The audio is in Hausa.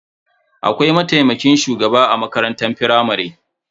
Akwai mataimakin shugaba a makarantar firamare.